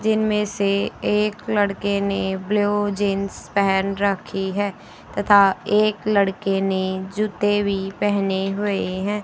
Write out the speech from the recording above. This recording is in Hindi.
जिनमें से एक लड़के ने ब्लू जींस पहन रखी है तथा एक लड़के ने जूते भी पहने हुए हैं।